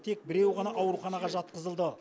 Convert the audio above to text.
тек біреуі ғана ауруханаға жатқызылды